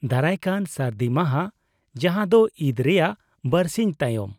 -ᱫᱟᱨᱟᱭᱠᱟᱱ ᱥᱟᱹᱨᱫᱤ ᱢᱟᱦᱟ ᱡᱟᱦᱟᱸ ᱫᱚ ᱤᱫᱽ ᱨᱮᱭᱟᱜ ᱵᱟᱨᱥᱤᱧ ᱛᱟᱭᱚᱢ᱾